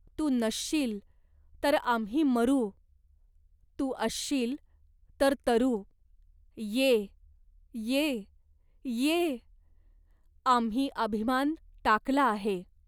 तू नसशील तर आम्ही मरू, तू असशील तर तरू, ये ये ये. "आम्ही अभिमान टाकला आहे.